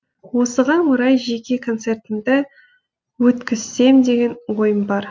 осыған орай жеке концертімді өткізсем деген ой бар